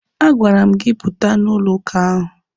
A gwara m gị pụta na ụlọ ụka ahụ!